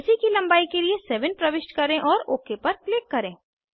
AC की लंबाई के लिए 7 प्रविष्ट करें और ओक पर क्लिक करें